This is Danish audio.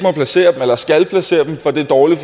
placere dem eller skal placere dem for det er dårligt